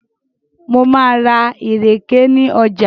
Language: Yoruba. Mo máa ra ìrèké ní ọjà.